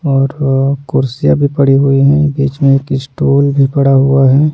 और अ कुर्सियाँ भी पड़ी हुई हैं बीच में एक इस्टूल भी पड़ा हुआ है।